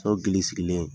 So gili sigilen ye